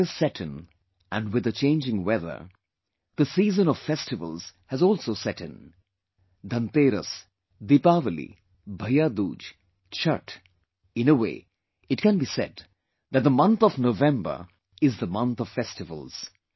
Winter has set in and with the changing weather, the season of festivals has also set in Dhanteras, Deepawali, BhaiyaDooj, Chhatth in a way it can be said that the month of November is the month of festivals